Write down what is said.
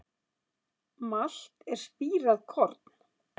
Malt er spírað korn.